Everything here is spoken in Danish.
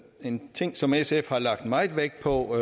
en ting som sf har lagt meget vægt på